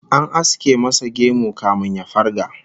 An aske masa gemu kafin ya farga